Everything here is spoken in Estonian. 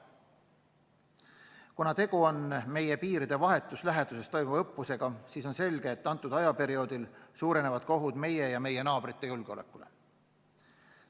Kuna tegu on meie piiride vahetus läheduses toimuva õppusega, siis on selge, et sel perioodil suureneb ka oht meie ja meie naabrite julgeolekule.